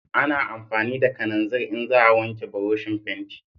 A na amfani da kananzir in za a wanke buroshin fenti